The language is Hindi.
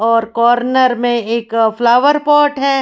और कॉर्नर में एक फ्लावर पॉट है।